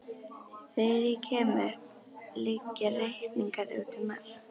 Þegar ég kem upp liggja reikningar úti um allt.